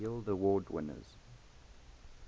guild award winners